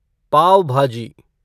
पाव भाजी